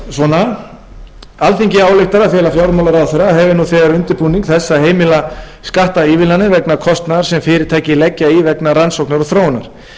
konar alþingi ályktar að fela fjármálaráðherra að hefja nú þegar undirbúning þess að heimila skattaívilnanir vegna kostnaðar sem fyrirtæki leggja í vegna rannsókna og þróunar miðað verði